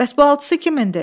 Bəs bu altısı kimindir?